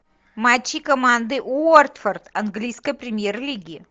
матчи команды уотфорд английской премьер лиги